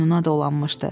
Boynuna dolanmışdı.